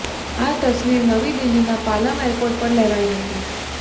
આ તસવીર નવી દિલ્હીના પાલમ એરપોર્ટ પર લેવાઈ હતી